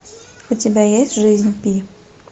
у тебя есть жизнь пи